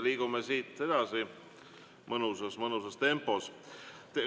Liigume siit edasi mõnusas tempos.